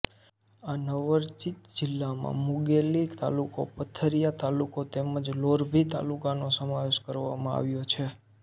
આ નવરચિત જિલ્લામાં મુંગેલી તાલુકો પથરિયા તાલુકો તેમ જ લોરભી તાલુકાનો સમાવેશ કરવામાં આવ્યો છે